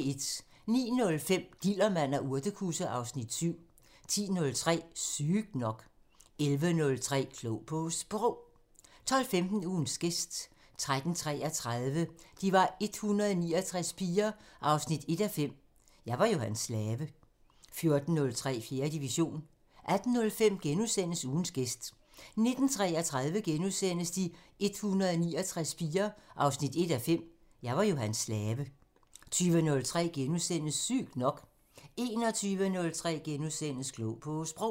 09:05: Dillermand og urtekusse (Afs. 7) 10:03: Sygt nok 11:03: Klog på Sprog 12:15: Ugens gæst 13:33: De 169 piger 1:5 – Jeg var jo hans slave 14:03: 4. division 18:05: Ugens gæst * 19:33: De 169 piger 1:5 – Jeg var jo hans slave * 20:03: Sygt nok * 21:03: Klog på Sprog *